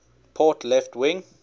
port left wing